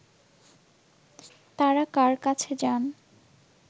তারা কার কাছে যান